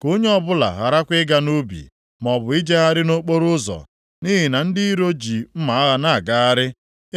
Ka onye ọbụla gharakwa ịga nʼubi, maọbụ ijegharị nʼokporoụzọ, nʼihi na ndị iro ji mma agha na-agagharị,